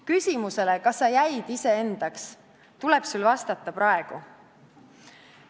Küsimusele, kas sa jäid iseendaks, tuleb sul vastata praegu.